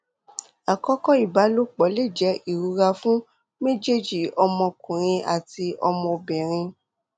akọkọ ibalopọ̀ le jẹ irora fun mejeeji ọmọkunrin ati ọmọbinrin